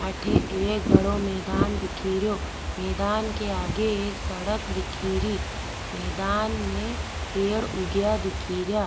अठे एक बड़ो मैदान दिख रो मैदान के आगे एक सड़क दिख री मैदान में पेड़ उगया दिख रा।